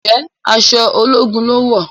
Njé aṣọ ológun lón wọ?